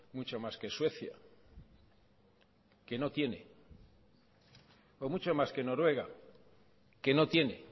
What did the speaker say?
mucho más que suecia que no tiene o mucho más que noruega que no tiene